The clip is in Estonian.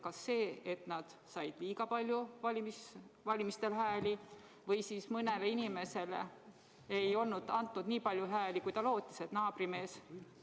Kas see, et nad said valimistel liiga palju hääli, või siis mõnele inimesele ei antud nii palju hääli, kui ta lootis?